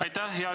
Aitäh!